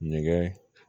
Ɲɛgɛn